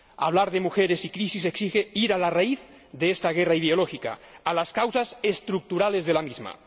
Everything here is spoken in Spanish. Hablar de mujeres y crisis exige ir a la raíz de esta guerra ideológica, a las causas estructurales de la misma.